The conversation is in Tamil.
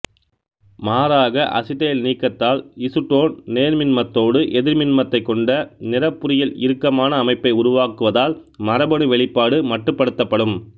மாறாக அசிட்டைல்நீக்கத்தால் இசுடோன் நேர்மின்மத்தோடு எதிர்மின்மத்தை கொண்ட நிறப்புரியில் இறுக்கமான அமைப்பை உருவாக்குவதால் மரபணு வெளிப்பாடு மட்டுபடுத்தப்படும்